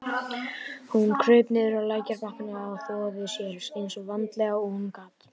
Hún kraup niður á lækjarbakkann og þvoði sér eins vandlega og hún gat.